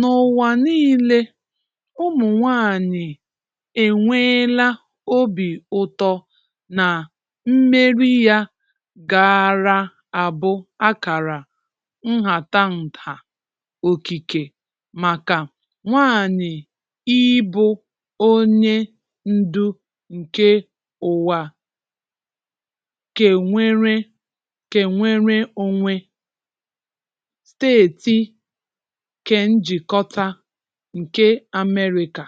N'ụwa niile, ụmụ nwaanyị e nweela obi ụtọ na mmeri ya gaara abụ akara nhatanha okike maka nwaanyị ịbụ onye ndu nke ụwa kenwere kenwere onwe, steeti kenjikọta nke Amerịka,